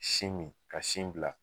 Sin min ka sin bila